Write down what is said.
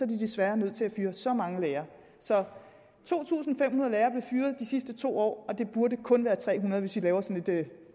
de desværre nødt til at fyre så mange lærere så to tusind fem hundrede lærere er blevet fyret de sidste to år og det burde kun være tre hundrede hvis vi laver sådan et